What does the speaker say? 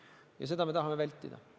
Ja seda me tahame vältida.